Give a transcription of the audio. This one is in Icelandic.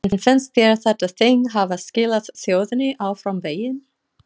En finnst þér þetta þing hafa skilað þjóðinni áfram veginn?